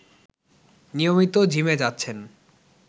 নিয়মিত জিমে যাচ্ছেন